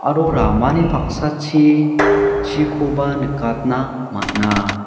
aro ramani paksachi chikoba nikatna man·a.